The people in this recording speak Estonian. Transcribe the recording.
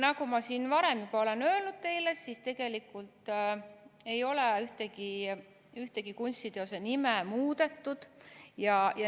Nagu ma siin varem juba olen öelnud teile, siis tegelikult ei ole ühtegi kunstiteose nime muudetud.